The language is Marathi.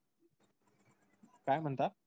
काय म्हणता?